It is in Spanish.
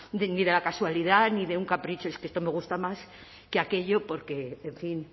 de la casualidad ni de un capricho es que esto me gusta más que aquello porque en fin